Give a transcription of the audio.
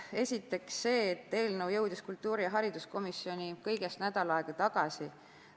Esiteks see, et eelnõu jõudis kultuurikomisjoni kõigest nädal aega tagasi.